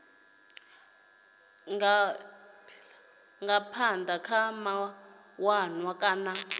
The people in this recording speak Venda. nga aphila kha mawanwa kana